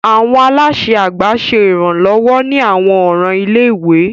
Awọn alaṣẹ àgbà ṣe iranlọwọ ni awọn ọran ilé-ìwé.